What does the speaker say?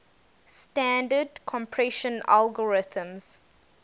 standard compression algorithms